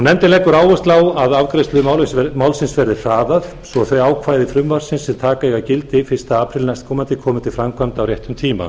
nefndin leggur áherslu á að afgreiðslu málsins verði hraðað svo að þau ákvæði frumvarpsins sem taka eiga gildi fyrsta apríl næstkomandi komi til framkvæmda á réttum tíma